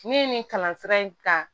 Ne ye nin kalan sira in kan